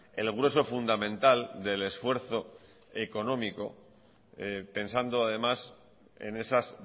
el grueso fundamental del esfuerzo económico pensando además en esas